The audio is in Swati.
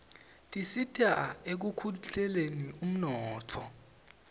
tisita ekukhldeni uninotfo